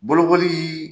Bolokoli